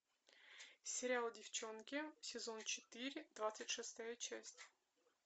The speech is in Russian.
сериал деффчонки сезон четыре двадцать шестая часть